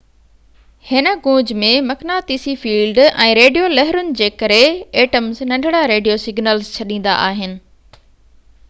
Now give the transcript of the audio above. هن گونج ۾ مقناطيسي فيلڊ ۽ ريڊيو لهرون جي ڪري ايٽمز ننڍڙا ريڊيو سگنلز ڇڏيندا آهن